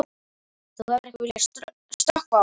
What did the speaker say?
Þú hefur ekki viljað stökkva á eitthvað?